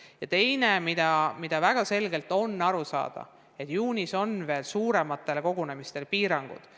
Ja teiseks, on väga selge, et juunis kehtivad veel suurematele kogunemistele piirangud.